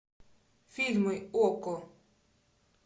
фильмы окко